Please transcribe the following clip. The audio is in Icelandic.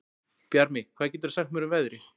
Bjarmi, hvað geturðu sagt mér um veðrið?